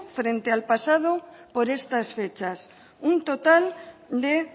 frente al pasado por estas fechas un total de